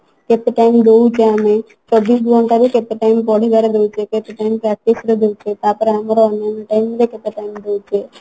କେତେ time ଦଉଛେ ଆମେ ଚବିଶ ଘଣ୍ଟାରୁ କେତେ time ପଢିବାରେ ଦଉଛେ କେତେ time practice ରେ ଦଉଛେ ତାପରେ ଆମର ଅନ୍ୟାନ time ରେ କେତେ time ଦଇଛେ